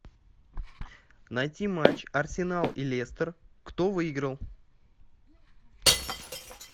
найти матч арсенал и лестер кто выиграл